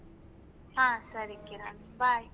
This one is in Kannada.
ಹಾ ಸರಿ ಕಿರಣ್ bye .